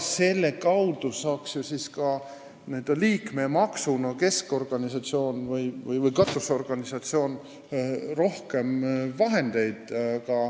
Nende kaudu saaks ju ka keskorganisatsioon või katusorganisatsioon liikmemaksu abil rohkem vahendeid.